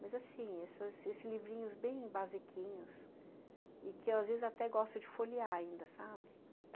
Mas, assim, essas esses livrinhos bem basiquinhos e que, às vezes, até gosto de folhear ainda, sabe?